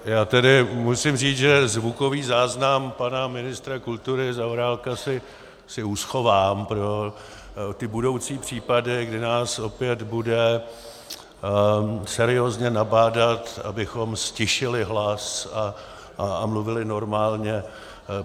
Já tedy musím říct, že zvukový záznam pana ministra kultury Zaorálka si uschovám pro ty budoucí případy, kdy nás opět bude seriózně nabádat, abychom ztišili hlas a mluvili normálně.